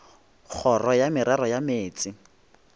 kgoro ya merero ya meetse